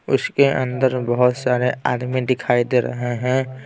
उसके अंदर बहुत सारे आदमी दिखाई दे रहे हैं।